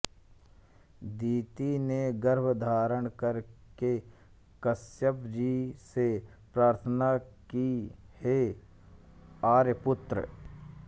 दिति ने गर्भ धारण कर के कश्यप जी से प्रार्थना की हे आर्यपुत्र